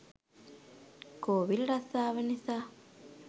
කෝවිල් රස්සාව නිසා